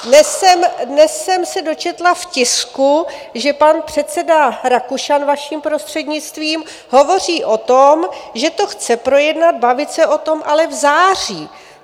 Dnes jsem se dočetla v tisku, že pan předseda Rakušan, vaším prostřednictvím, hovoří o tom, že to chce projednat, bavit se o tom, ale v září.